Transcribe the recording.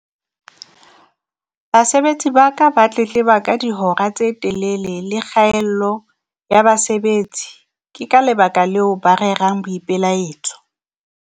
Basebetsi ba ka ba tletleba ka dihora tse telele le kgaello ya basebetsi. ke ka lebaka leo ba rerang boipelaetso.